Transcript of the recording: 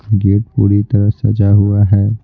Gate पूरी तरह सजा हुआ है।